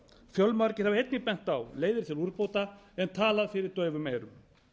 fjölmargir hafa einnig bent á leiðir til úrbóta en talað fyrir daufum eyrum